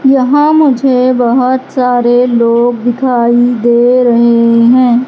यहां मुझे बहोत सारे लोग दिखाई दे रहे हैं।